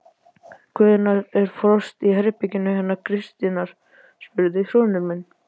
Hvenær var frost í herberginu hennar Kristínar? spurði sonur minn.